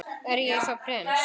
Er ég þá prins?